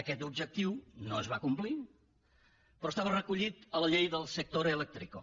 aquest objectiu no es va complir però estava recollit a la llei del sector eléctrico